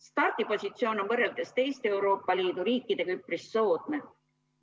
Stardipositsioon on võrreldes teiste Euroopa Liidu riikidega üpris soodne.